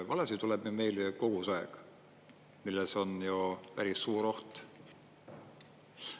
Valesid tuleb nüüd meil kogu aeg, milles on ju päris suur oht.